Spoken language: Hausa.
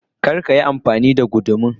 kar a Yi amfani da gudun